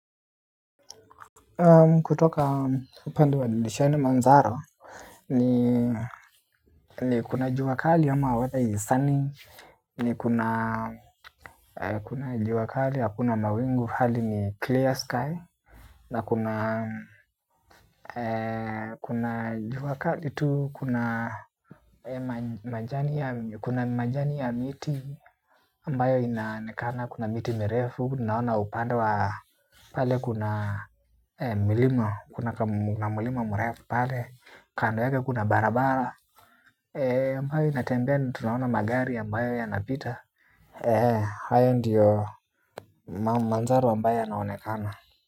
Kutoka upande wa divisheni Manzaro ni kuna jua kali ama weather is sunnyi eeh kuna jua kali ya hakuna mawingu hali ni clear sky. Na kuna jua kali tu huku na kuna majani ya miti ambayo inaonekana, kuna miti mirefu, naona upande wa pale kuna milima, kuna kamulima mrefu pale, kando yake kuna barabara ambayo inatembea, tunaona magari ambayo yanapita. Haiya ndiyo manzaro ambayo yanaonekana.